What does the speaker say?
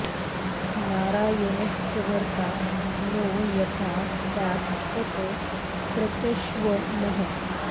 नारायणश्च भर्त्ता नो यथा स्यात् तत् प्रचक्ष्व नः